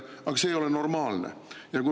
Aga see ei ole normaalne!